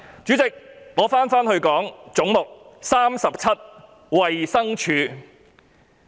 主席，我回到"總目 37― 衞生署"。